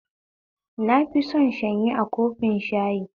Na fi son shanyi a kofin shayi